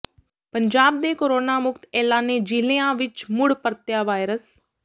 ਪੰਜਾਬ ਦੇ ਕੋਰੋਨਾ ਮੁਕਤ ਐਲਾਨੇ ਜਿਲ੍ਹਿਆਂ ਵਿਚ ਮੁੜ ਪਰਤਿਆ ਵਾਇਰਸ